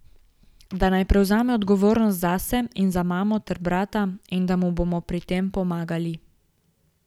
Da naj prevzame odgovornost zase in za mamo ter brata in da mu bomo pri tem pomagali.